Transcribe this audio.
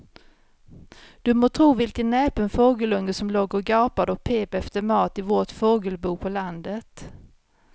Du må tro vilken näpen fågelunge som låg och gapade och pep efter mat i vårt fågelbo på landet.